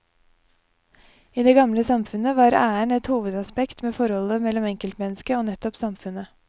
I det gamle samfunnet var æren et hovedaspekt ved forholdet mellom enkeltmennesket og nettopp samfunnet.